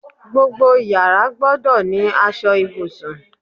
Gbogbo yàrá gbọ́dọ̀ ní aṣọ ibùsùn